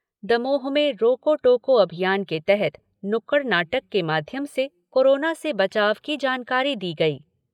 दमोह में रोको टोको अभियान के तहत नुक्कड नाटक के माध्यम से कोरोना से बचाव की जानकारी दी गई।